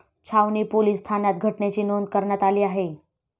छावणी पोलीस ठाण्यात घटनेची नोंद कऱण्यात आली आहे.